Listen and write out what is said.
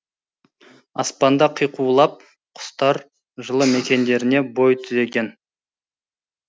аспанда қиқулап құстар жылы мекендеріне бой түзеген